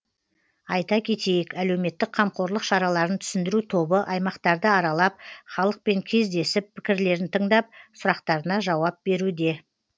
айта кетейік әлеуметтік қамқорлық шараларын түсіндіру тобы аймақтарды аралап халықпен кездесіп пікірлерін тыңдап сұрақтарына жауап беруде